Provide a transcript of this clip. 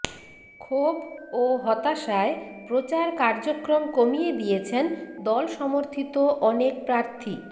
ক্ষোভ ও হতাশায় প্রচার কার্যক্রম কমিয়ে দিয়েছেন দলসমর্থিত অনেক প্রার্থী